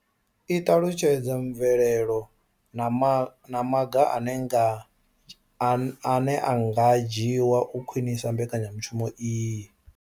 I ṱalutshedza mvelelo na maga ane a nga dzhiwa u khwinisa mbekanya mushumo iyi.